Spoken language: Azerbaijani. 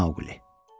Mauqli.